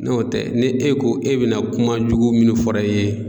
N'o tɛ ni e ko e be na kuma jugu munnu fɔra i ye